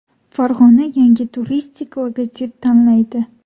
Farg‘ona yangi turistik logotip tanlaydi.